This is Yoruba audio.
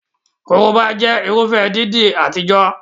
Korobá jẹ́ Irúfẹ́ irun dídì àtijọ́